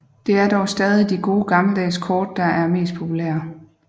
Det er dog stadig de gode gammeldags kort der er mest populære